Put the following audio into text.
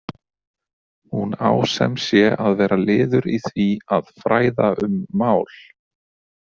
Hún á sem sé að vera liður í því að „fræða um mál“.